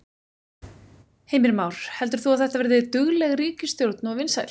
Heimir Már: Heldur þú að þetta verði dugleg ríkisstjórn og vinsæl?